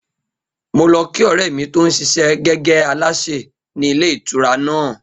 Mo lo̩ kí ò̩ré̩ mi tó ń s̩is̩é̩ gé̩gé̩ alásè ní ilé ìtura náà